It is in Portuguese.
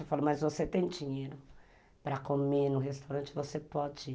Eu falo, mas você tem dinheiro para comer no restaurante, você pode.